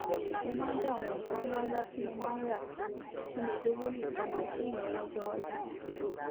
mò ń dá àwọn nǹkan ńláńlá tí mò ń rà dúró kí n lè lówó ní ìpámọ fún ìnáwọ ọjọiwájú